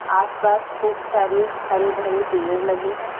आसपास खूब सारे हरे भरे पेड़ लगे हैं।